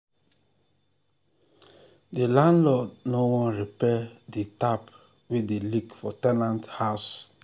the landlord no wan repair the the tap wey dey leak for ten ant house.